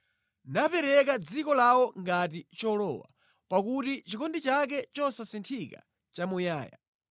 Napereka dziko lawo ngati cholowa, pakuti chikondi chake chosasinthika nʼchamuyaya.